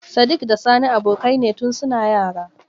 Sadik da sani abokai ne tun suna yara.